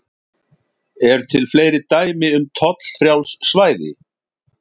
Eru til fleiri dæmi um tollfrjáls svæði?